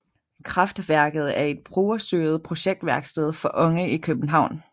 KraftWerket er et brugerstyret projektværksted for unge i København